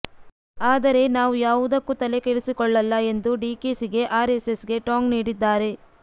ಆದರೆ ನಾವು ಯಾವುದಕ್ಕೂ ತಲೆ ಕೆಡೆಸಿಕೊಳ್ಳಲ್ಲ ಎಂದು ಡಿಕೆಶಿಗೆ ಆರ್ಎಸ್ಎಸ್ಗೆ ಟಾಂಗ್ ನೀಡಿದ್ದಾರೆ